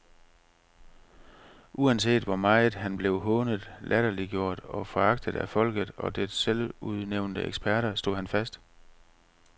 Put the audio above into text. Uanset hvor meget han blev hånet, latterliggjort og foragtet af folket og dets selvudnævnte eksperter, stod han fast.